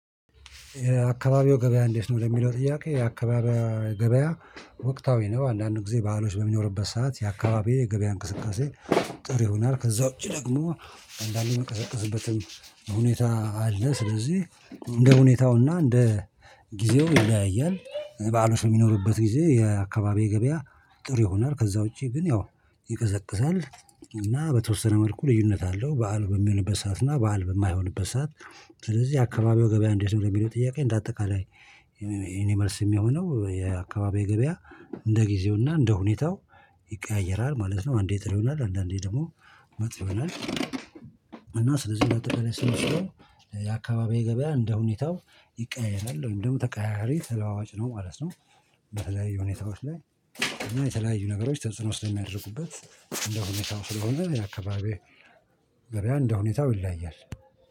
አካባቢው ገበያ እንዴት ነው ለሚለው ጥያቄ የአካባቢው ገበያ ወቅታዊ ነው አንዳንድ ጊዜ ባህሎች በሚኖርበት ሰዓት የአካባቢዬ የገበያ እንቅስቃሴ ጥሩ ይሆናል ከዛ ውጪ ደግሞ አንዳንዴ የሚቀዘቅዝበትም ሁኔታ አለ ስለዚህ እንደ ሁኔታውና እንደ ጊዜው ይለያያል በዓሎች በሚኖርበት ጊዜ የአካባቢዬ ገበያ ጥሩ ይሆናል ከዛ ውጪ ግን ያው ይቀዘቅዛል እና በተወሰነ መልኩ ልዩነት አለው። በዓል በሚሆንበት ሰዓት እና በዓል በማይሆንበት ሰዓት ስለዚህ አካባቢው ገበያ እንዴት ነው ለሚለው ጥያቄ እንደ አጠቃላይ የኔ መልስ የሚሆነው የአካባቢው ገበያ እንደ ጊዜውና እንደ ሁኔታው ይቀያየራል ማለት ነው። አንዴ ጥሩ ይሆናል አንዳንዴ ደግሞ መጥፎ ይሆናል። ስለዚህ አጠቃላይ ስንሰራው የአካባቢው ገበያ እንደሁኔታው ይቀየራል ደግሞ ተቀያያሪ ተለዋዋጭ ነው ማለት ነው። በተለያዩ ሁኔታዎች ላይ እና የተለያዩ ነገሮች ተጽዕኖ ስለሚያደርጉበት እንደሁኔታው ስለሆነ የአካባቢው ገበያ እንደሁኔታው ይለያያል